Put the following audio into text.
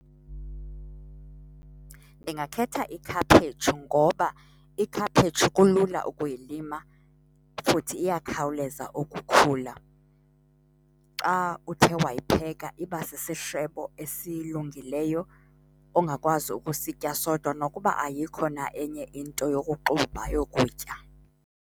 Ndingakhetha ikhaphetshu ngoba ikhaphetshu kulula ukuylima futhi iyakhawuleza ukukhula. Xa uthe wayipheka iba sisishebo esilungileyo ongakwazi ukusitya sodwa nokuba ayikho na enye into yokuxuba yokutya.